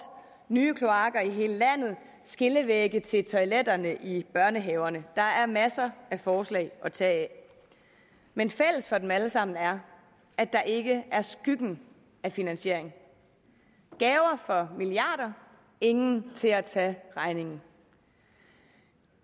nye kloakker i hele landet skillevægge til toiletterne i børnehaverne der er masser af forslag at tage af men fælles for dem alle sammen er at der ikke er skygge af finansiering gaver for milliarder ingen til at tage regningen